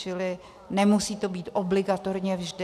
Čili nemusí to být obligatorně vždy.